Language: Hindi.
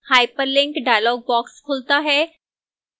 hyperlink dialog box खुलता है